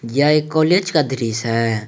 यह एक कॉलेज का दृश्य है।